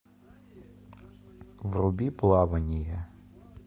вруби плавание